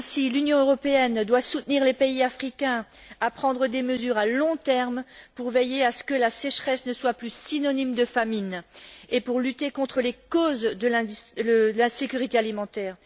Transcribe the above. L'Union européenne doit aider les pays africains à prendre des mesures à long terme pour veiller à ce que la sécheresse ne soit plus synonyme de famine et pour lutter contre les causes de l'insécurité alimentaire.